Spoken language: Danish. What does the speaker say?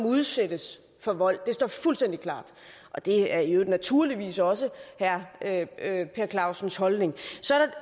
udsættes for vold det står fuldstændig klart og det er i øvrigt naturligvis også herre per clausens holdning